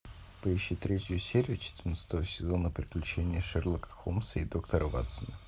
поищи третью серию четырнадцатого сезона приключения шерлока холмса и доктора ватсона